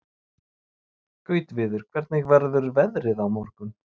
Gautviður, hvernig verður veðrið á morgun?